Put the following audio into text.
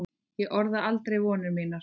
Ég orðaði aldrei vonir mínar.